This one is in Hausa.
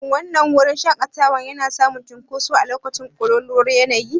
Shin wannan wurin shaƙatawa yana samun cunkoso a lokacin ƙololuwar yanayi?